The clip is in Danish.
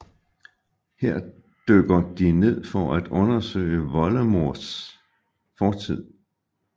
Her dykker de ned for at undersøge Voldemorts fortid